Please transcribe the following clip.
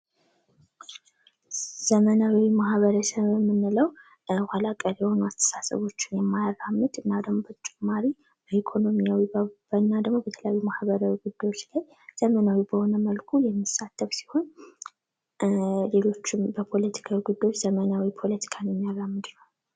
ዘመናዊ ማህበረሰብ የምንለው ኋላ ቀር አስተሳሰቦችን የማያራምድ እና ደግሞ በተጨማሪ የኢኮኖሚያዊ እና ደግሞ ወቅታዊ ማህበራዊ ጉዳዮች ላይ ዘመናዊ በሆነ መልኩ የሚሳተፍ ሲሆን ሊሎችም በፖለቲካዊ ጉዳዮች ዘመናዊ ፖለቲካን የሚያራምድ ነው።